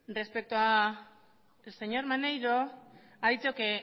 respecto al señor maneiro ha dicho que